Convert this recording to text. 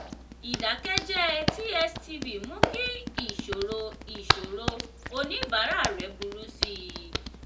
ìdákẹ́jẹ̀ẹ́ tstv mú kí ìṣòro ìṣòro oníbàárà rẹ̀ burú sí i.